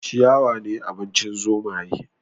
Ciyawa ne abincin zomaye